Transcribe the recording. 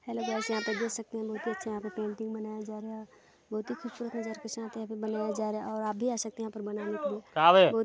hello guys यहाँ पर देख सकते है लोग बच्चे यहाँ पे पेंटिंग बनाया जा रहा है बहुत ही खूबसूरत नजारा के साथ यहाँ पे बनाया जा रहा है और आप भी आ सकते है यहाँ पर बनाने के लिए--